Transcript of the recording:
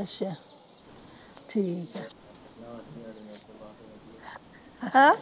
ਅੱਛਾ ਠੀਕ ਆ ਹਾਂ